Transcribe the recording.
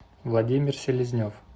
владимир селезнев